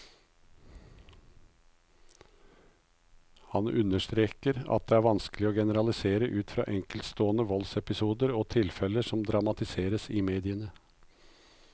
Han understreker at det vanskelig å generalisere ut fra enkeltstående voldsepisoder og tilfeller som dramatiseres i mediene.